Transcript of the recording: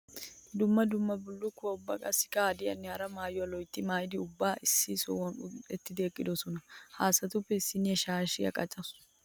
Dumma dumma bullukkuwa ubba qassikka haddiyanne hara maayuwa loytti maayidda ubbay issi sohuwan uni'ettiddi eqqodosonna. Ha asattuppe issinna shaashshiya qaccaassu.